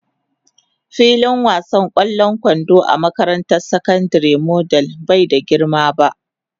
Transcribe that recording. Filin wasan ƙwallon kwando a makarantar sakandare model bai da girma ba.